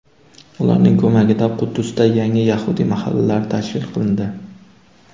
Ularning ko‘magida Quddusda yangi yahudiy mahallalari tashkil qilindi.